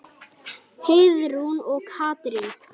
Heiðrún og Katrín.